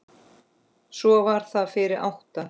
Svo var það fyrir átta.